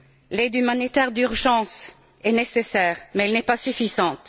L'aide humanitaire d'urgence est nécessaire, mais elle n'est pas suffisante.